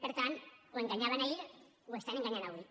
per tant o enganyaven ahir o estan enganyant avui